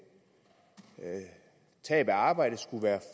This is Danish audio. tab af arbejde skulle være